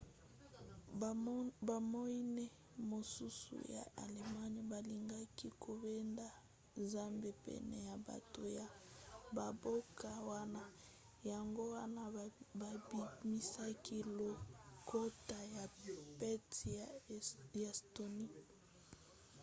bamoine mosusu ya allemagne balingaki kobenda nzambe pene ya bato ya bamboka wana yango wana babimisaki lokota ya pete ya estonie